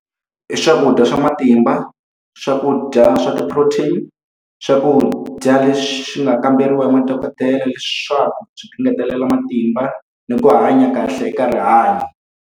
I swakudya swa matimba, swakudya swa ti-protein, swakudya leswi swi nga kamberiwa hi madokodela leswaku swi ku ngetelela matimba ni ku hanya kahle eka rihanyo.